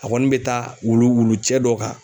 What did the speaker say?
A kɔni bɛ taa wulu wulucɛ dɔ kan